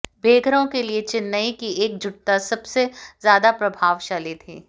बेघरों के लिए चेन्नई की एकजुटता सबसे ज्यादा प्रभावशाली थी